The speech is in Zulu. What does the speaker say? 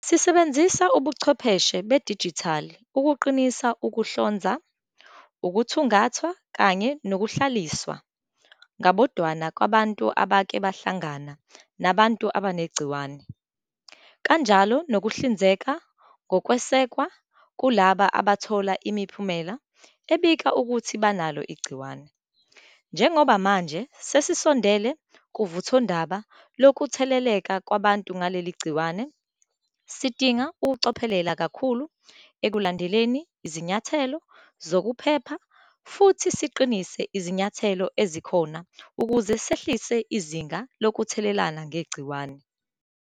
Sisebenzisa ubuchwepheshe bedijithali ukuqinisa ukuhlonzwa, ukuthungathwa kanye nokuhlaliswa ngabodwana kwabantu abake bahlangana nabantu abanegciwane, kanjalo nokuhlinzeka ngokwesekwa kulabo abathola imiphumela ebika ukuthi banalo igciwane. Njengoba manje sesisondele kuvuthondaba lokutheleleka kwabantu ngaleli gciwane, sidinga ukucophelela kakhulu ekulandeleni izinyathelo zokuphepha futhi siqinise izinyathelo ezikhona ukuze sehlisa izinga lokuthelelana ngegciwane.